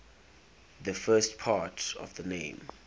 the first part of the name